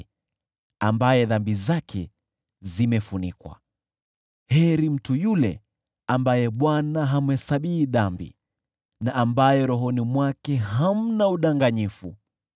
Heri mtu yule ambaye Bwana hamhesabii dhambi, na ambaye rohoni mwake hamna udanganyifu.